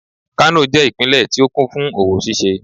kano je ipinle ti o kún fún owo ṣíṣe